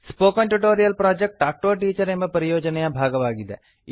spoken tutorial project talk to a teacher ಎಂಬ ಪರಿಯೋಜನೆಯ ಭಾಗವಾಗಿದೆ